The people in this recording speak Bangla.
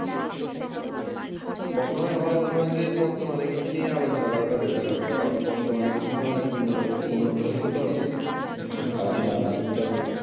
প্রথমে আমার মনে হয় যে বর্তমান এর কৃষি নিয়ে আলোচনা হয় better হয় কারণ বর্তমান কৃষিতে অনেক উন্নতি উন্নত হয়েছে তো আর আদিম কালে